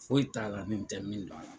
Foyi t'a la nin tɛ min don la.